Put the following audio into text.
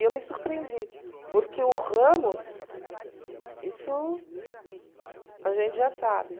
E eu me surpreendi, porque o Ramos, isso a gente já sabe.